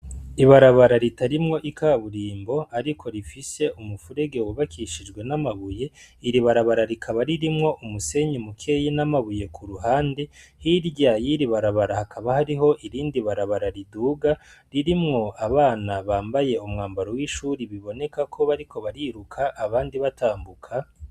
Ibarabara ritarimwo ikaburimbo ariko rifise umufurege wubakishije n'amabuye. Iri barabara rikaba ririmwo umusenyi mukeyi n'amabuye ku ruhande . Hirya y'iri barabara hakaba hariho irindi barabara riduga ririmwo abana bambaye umwambaro w'ishuri biboneka ko bariko bariruka, abandi batambuka.